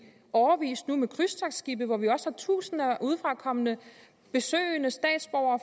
årevis nu med krydstogtskibe hvor vi også har tusinder af udefra kommende besøgende statsborgere